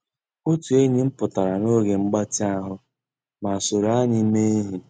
Ótú ényí m pụ́tárá n'ògé mgbàtị́ ahụ́ má sòró ànyị́ meé íhé.